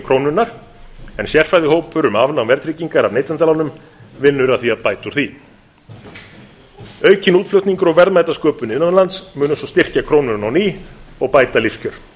krónunnar en sérfræðihópur um afnám verðtryggingar af neytendalánum vinnur nú að því að bæta þar úr aukinn útflutningur og verðmætasköpun innan lands munu styrkja krónuna á ný og bæta lífskjör